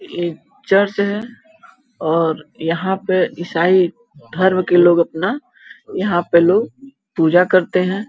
एक चर्च है और यहाँ पे ईसाई धर्म के लोग अपना यहाँ पे लोग पूजा करते हैं --